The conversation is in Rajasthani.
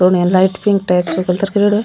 थोड़े लाइट पिंक टाइप्स सो कलर करियोड़ो है।